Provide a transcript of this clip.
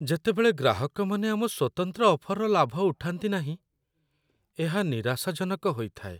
ଯେତେବେଳେ ଗ୍ରାହକମାନେ ଆମ ସ୍ୱତନ୍ତ୍ର ଅଫର୍‌ର ଲାଭ ଉଠାନ୍ତି ନାହିଁ, ଏହା ନିରାଶାଜନକ ହୋଇଥାଏ।